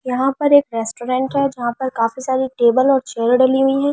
यहां पर एक रेस्टोरेंट है जहां पर काफी सारे टेबल और चेयर डली हुई हैं।